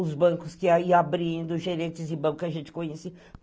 Os bancos que iam abrindo, gerentes de banco que a gente conhecia.